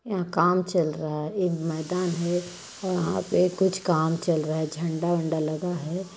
यहाँ काम चल रहा है एक मैदान है वहाँ पे कुछ काम चल रहा है झंडा- वंडा लगा हैं।